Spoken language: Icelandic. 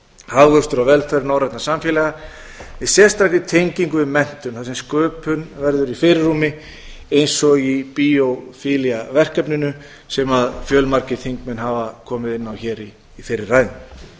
hagvöxtur og velferð norrænna samfélaga með sérstakri tengingu við menntun þar sem sköpun verður í fyrirrúmi eins og í biophilia verkefninu sem fjölmargir þingmenn hafa komið inn á hér í fyrri ræðum ég held